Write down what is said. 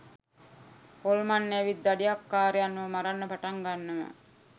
හොල්මන් ඇවිත් දඩයක්කාරයන්ව මරන්න පටන් ගන්නවා